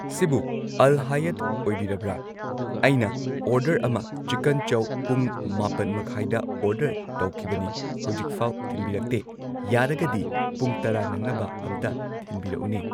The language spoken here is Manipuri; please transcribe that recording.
ꯁꯤꯕꯨ ꯑꯜ ꯍꯥꯌꯥꯠ ꯑꯣꯏꯕꯤꯔꯕ꯭ꯔ ꯑꯩꯅ ꯑꯣꯔꯗꯔ ꯑꯃ ꯆꯤꯀꯟ ꯆꯧ ꯄꯨꯡ ꯃꯥꯄꯟ ꯃꯈꯥꯏꯗ ꯑꯣꯔꯗꯔ ꯇꯧꯈꯤꯕꯅꯤ ꯍꯧꯖꯤꯛꯐꯥꯎ ꯊꯤꯟꯕꯤꯔꯛꯇꯦ ꯌꯥꯔꯒꯗꯤ ꯄꯨꯡ ꯇꯔꯥ ꯅꯪꯅꯕ ꯑꯝꯇ ꯊꯤꯟꯕꯤꯔꯛꯎꯅꯦ꯫